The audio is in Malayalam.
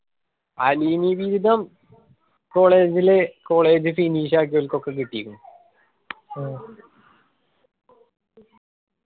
അലീമി വീതം college ലു college finish ആക്കിയോർക്ക് ഒക്കെ കിട്ടിക്കുന്നു